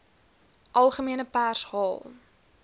algemene pers haal